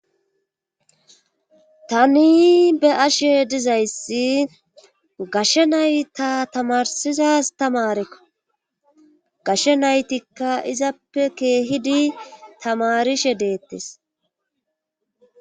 Tani be ashe dizayssi gashe nay ta tamarsizas tamarekko gashshe naytikka izappe keehidi tamarishe deettes.